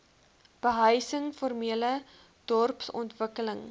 behuising formele dorpsontwikkeling